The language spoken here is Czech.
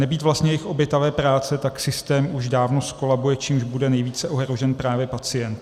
Nebýt vlastně jejich obětavé práce, tak systém už dávno zkolabuje, čímž bude nejvíce ohrožen právě pacient.